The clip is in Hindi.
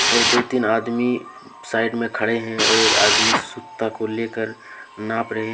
और दो तीन आदमी साइड में खड़े हैं और एक आदमी सूता को लेकर नाप रहे--